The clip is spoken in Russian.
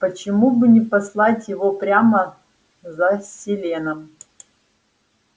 почему бы не послать его прямо за селеном